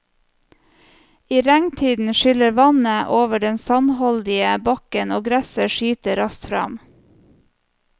I regntiden skyller vannet over den sandholdige bakken og gresset skyter raskt fram.